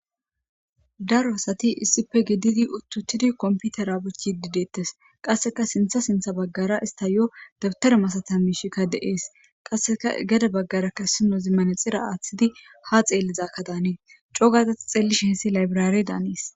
Daro asati issipe gididi utiutidi komputera buchidi dettes qaseka sintha sintha baggara istayo dabitare masatzi mishika de'es qaseka gede bagaraka issinozi manaxire atidi ha xelizakka danes c'ogada ta xelishen issi laybrare danes.